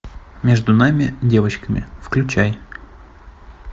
между нами девочками включай